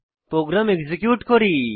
programme execute করি